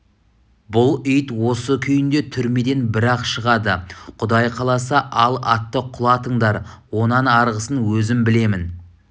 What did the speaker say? бұл ит осы күйінде түрмеден бір-ақ шығады құдай қаласа ал атты құлатыңдар онан арғысын өзім білемін